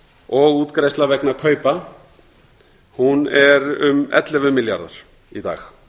og útgreiðslna vegna kaupa er um ellefu milljarðar í dag